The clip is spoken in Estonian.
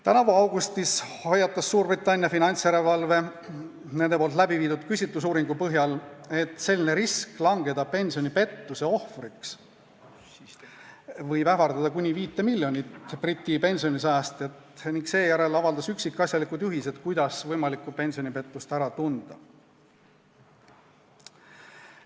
Tänavu augustis hoiatas Suurbritannia finantsjärelevalve amet nende läbiviidud küsitlusuuringu põhjal, et risk langeda pensionipettuse ohvriks võib ähvardada kuni 5 miljonit Briti pensionisäästjat, ning seejärel avaldas üksikasjalikud juhised, kuidas võimalikku pensionipettust ära tunda.